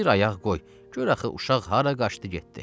Bir ayaq qoy, gör axı uşaq hara qaçdı getdi.